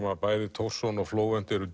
að bæði Thorson og Flóvent eru